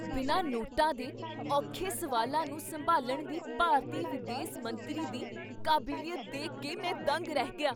ਬਿਨਾਂ ਨੋਟਾਂ ਦੇ ਔਖੇ ਸਵਾਲਾਂ ਨੂੰ ਸੰਭਾਲਣ ਦੀ ਭਾਰਤੀ ਵਿਦੇਸ ਮੰਤਰੀ ਦੀ ਕਾਬਲੀਅਤ ਦੇਖ ਕੇ ਮੈਂ ਦੰਗ ਰਹਿ ਗਿਆ!